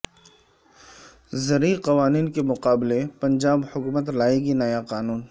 زرعی قوانین کے مقابلے پنجاب حکومت لائے گی نیا قانون